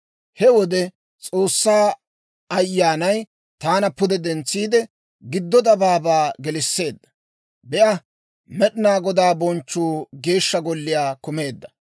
He wode S'oossaa Ayyaanay taana pude dentsiide, giddo dabaabaa gelisseedda; Be'a! Med'inaa Godaa bonchchuu Geeshsha Golliyaa kumeedda.